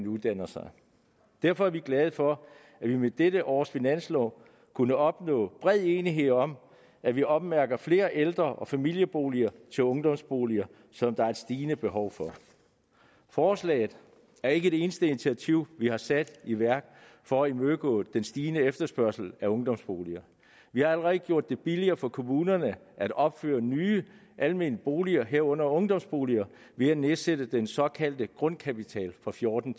uddanner sig derfor er vi glade for at vi med dette års finanslov kunne opnå bred enighed om at vi ommærker flere ældre og familieboliger til ungdomsboliger som der er et stigende behov for forslaget er ikke det eneste initiativ vi har sat i værk for at imødegå den stigende efterspørgsel på ungdomsboliger vi har allerede gjort det billigere for kommunerne at opføre nye almene boliger herunder ungdomsboliger ved at nedsætte den såkaldte grundkapital fra fjorten